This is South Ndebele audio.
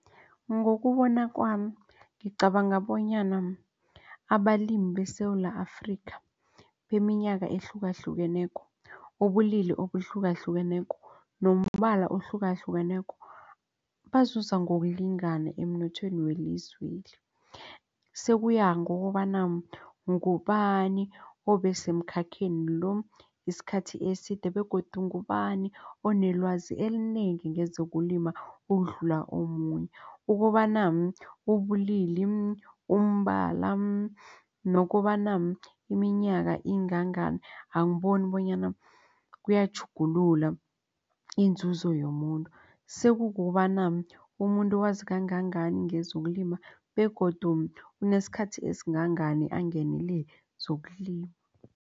Ngokubona kwami ngicabanga bonyana abalimi beSewula Afrika beminyaka ehlukahlukeneko ubulili obuhlukahlukeneko, nombala ohlukahlukeneko bazuza ngokulingana emnothweni welizweli. Sekuya ngokobana ngubani obesemkhakheni lo isikhathi eside begodu ngubani onelwazi elinengi ngezokulima ukudlula omunye ukobana ubulili umbala nokobana iminyaka ingangani angiboni bonyana kuyatjhugulula iinzuzo yomuntu sokobana umuntu wazi kangangani ngezokulima begodu unesikhathi esingangani angenelele zokulima.